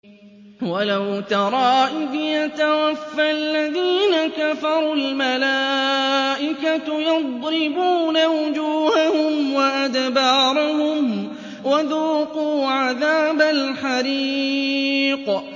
وَلَوْ تَرَىٰ إِذْ يَتَوَفَّى الَّذِينَ كَفَرُوا ۙ الْمَلَائِكَةُ يَضْرِبُونَ وُجُوهَهُمْ وَأَدْبَارَهُمْ وَذُوقُوا عَذَابَ الْحَرِيقِ